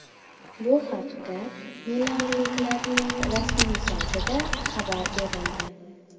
Bu haqda milanliklarning rasmiy saytida xabar berildi .